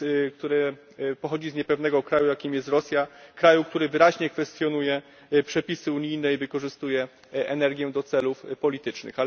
które pochodzi z niepewnego kraju, jakim jest Rosja, kraju, który wyraźnie kwestionuje przepisy unijne i wykorzystuje energię do celów politycznych.